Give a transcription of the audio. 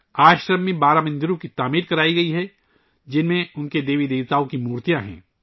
آشرم میں بارہ مندر تعمیر کئے گئے ہیں ، جن میں بہت سے دیوی اور دیوتاؤں کی مورتیاں ہیں